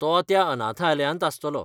तो त्या अनाथालयांत आसतलो.